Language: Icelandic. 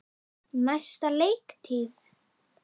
Næsta leiktíð?